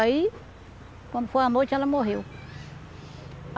Aí, quando foi a noite, ela morreu.